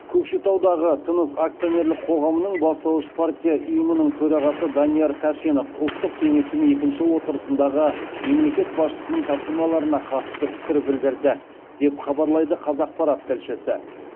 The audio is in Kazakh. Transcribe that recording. көкшетаудағы тыныс акционерлік қоғамының бастауыш партия ұйымының төрағасы данияр тәшенов ұлттық кеңестің екінші отырысындағы мемлекет басшысының тапсырмаларына қатысты пікір білдірді деп хабарлайды қазақпарат тілшісі